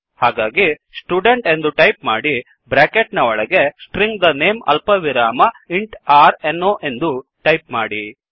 ಹಾಗಾಗಿ ಸ್ಟುಡೆಂಟ್ ಎಂದು ಟೈಪ್ ಮಾಡಿ ಬ್ರ್ಯಾಕೆಟ್ ನ ಒಳಗೆ ಸ್ಟ್ರಿಂಗ್ the name ಅಲ್ಪವಿರಾಮ ಇಂಟ್ r no ಎಂದು ಟೈಪ್ ಮಾಡಿ